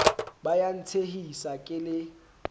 ba ya ntshehisa ke le